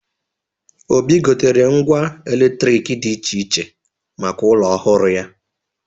Obi gotere ngwa eletrik dị iche iche maka ụlọ ọhụrụ ya.